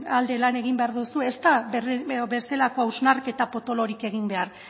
alde lan egin behar duzu ez da bestelako hausnarketa potolorik egin behar